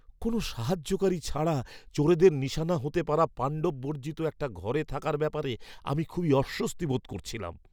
কোনও সাহায্যকারী ছাড়া চোরেদের নিশানা হতে পারা পাণ্ডববর্জিত একটা ঘরে থাকার ব্যাপারে আমি খুবই অস্বস্তি বোধ করছিলাম।